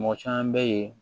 Mɔgɔ caman bɛ yen